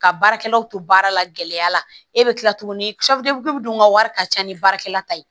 Ka baarakɛlaw to baara la gɛlɛya la e bɛ tila tuguni dun ka wari ka ca ni baarakɛla ta ye